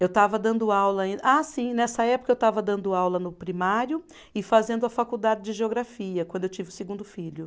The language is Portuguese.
Eu estava dando aula ainda. Ah, sim, nessa época eu estava dando aula no primário e fazendo a faculdade de geografia, quando eu tive o segundo filho.